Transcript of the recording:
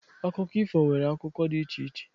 Akụkọ ifo nwere akụkọ dị iche iche.